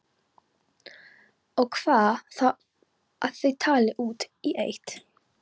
Og hvað þá að þau tali út í eitt.